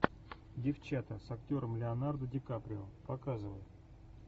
девчата с актером леонардо ди каприо показывай